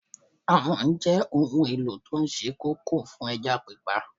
Àwọ̀n jẹ́ ohun èlò tó sé kókó fún ẹja pípa